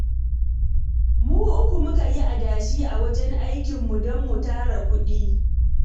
Mu uku muka yi adashi a wajen aikinmu don mu tara kuɗi